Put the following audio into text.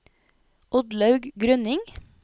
Oddlaug Grønning